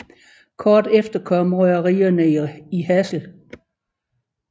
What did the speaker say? Kort efter kom røgerierne i Hasle